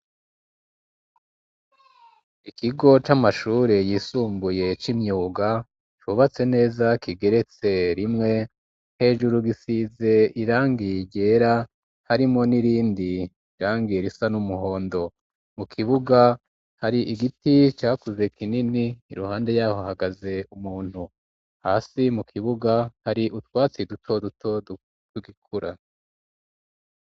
Ikigo c'amashure yisumbuye c'imyuga cubatse neza kigeretse rimwe, hejuru gisize irangi ryera harimwo n'irindi rangi risa n'umuhondo, mu kibuga hari igiti cakuze kinini iruhande yaho hahagaze umuntu, hasi mu kibuga hari utwatsi duto duto tugikura.